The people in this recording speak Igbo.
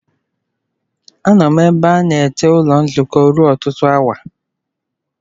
Anọ m ebe a na-eche ụlọ nzukọ ruo ọtụtụ awa.